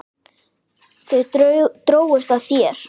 Þau drógust að þér.